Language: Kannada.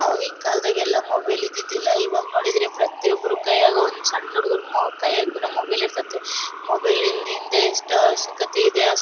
ಆವಾಗೀನ್ ಕಾಲದಗ್ ಎಲ್ಲಾ ಮೊಬೈಲ್ ಇದೀದಿದಿಲ್ಲಾ ಈವಾಗ ನೋಡಿದ್ರೆ ಪ್ರತಿಯೊಬ್ಬರ ಕೈಯಾಗ್ ಒಂದ್ ಸಣ್ಣ ಹುಡುಗ್ರು ಮೊ ಕೈಯಾಗುನು ಮೊಬೈಲ್ ಇರ್ತ್ತತಿ ಮೊಬೈಲ್ ಲಿಂದ್ ಹಿಂದೆ ಎಷ್ಟು ಅವಶ್ಯಕತೆ ಇದೆ ಅಷ್ಟೇ--